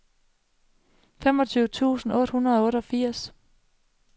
femogtyve tusind otte hundrede og otteogfirs